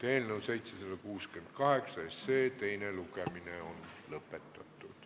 Eelnõu 768 teine lugemine on lõpetatud.